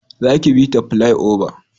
Za ki bi ta filai oba!